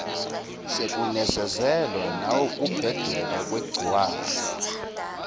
sekunezezelwa nawukubheduka kwegciwane